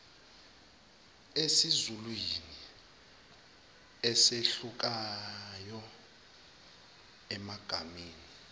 esizulwini ezehlukayo emagameni